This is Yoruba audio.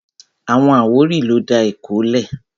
Àwọn àwórì ló dá Èkó lẹ̀